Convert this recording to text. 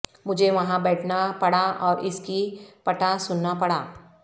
مجھے وہاں بیٹھنا پڑا اور اس کی پٹا سننا پڑا